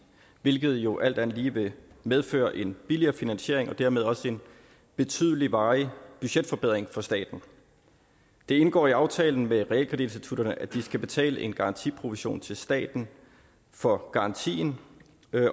hvilket jo alt andet lige vil medføre en billigere finansiering og dermed også en betydelig varig budgetforbedring for staten det indgår i aftalen med realkreditinstitutterne at de skal betale en garantiprovision til staten for garantien